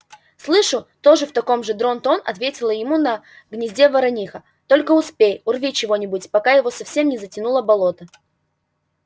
слышу тоже в таком же дрон-тон ответила ему на гнезде ворониха только успей урви чего-нибудь пока его совсем не затянуло болото